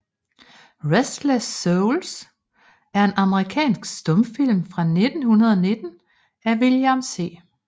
Restless Souls er en amerikansk stumfilm fra 1919 af William C